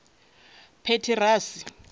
petirasi